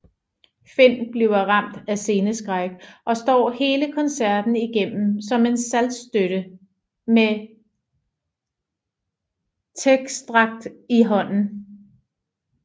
Finn bliver ramt af sceneskræk og står hele koncerten igennem som en saltstøtte med tekstark i hånden